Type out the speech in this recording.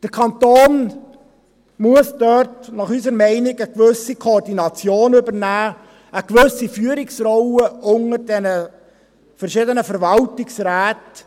Der Kanton muss dort, unserer Meinung nach, eine gewisse Koordination übernehmen, eine gewisse Führungsrolle unter diesen verschiedenen Verwaltungsräten.